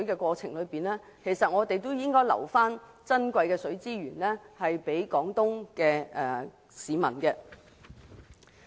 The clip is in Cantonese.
與此同時，我們亦能預留珍貴的水資源予廣東的市民。